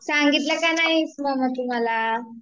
सांगितलं का नाहीस मग तू मला ?